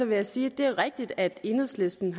vil jeg sige at det er rigtigt at enhedslisten